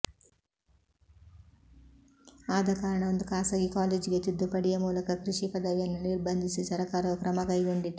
ಆದ ಕಾರಣ ಒಂದು ಖಾಸಗಿ ಕಾಲೇಜಿಗೆ ತಿದ್ದುಪಡಿಯ ಮೂಲಕ ಕೃಷಿ ಪದವಿಯನ್ನು ನಿರ್ಬಂಧಿಸಿ ಸರಕಾರವು ಕ್ರಮ ಕೈಗೊಂಡಿತು